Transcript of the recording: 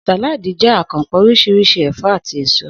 Sàláàdì jé̩ àkanpò̩ orís̩irís̩i è̩fó̩ àti èso